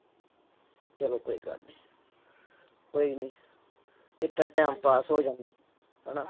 ਚਲੋ ਕੋਈ ਗੱਲ ਨੀ ਕੋਈ ਨੀ ਏਦਾਂ time pass ਹੋ ਜਾਂਦਾ ਹਨਾ।